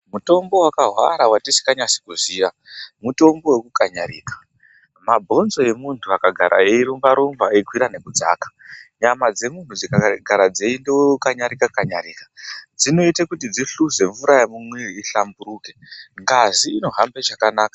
Mutombo wakahwara wetisinganasi kuziya mutombo wekukanyarika mabhonzo emuntu akagara eirumba rumba eikwira nekudzaka, nyama dzemunhu dzikagara dzeikanyarika kanyarika dzinoita kuti dzihluze mvura yemumwiri ihlamburuke ngazi inohambe chakanaka.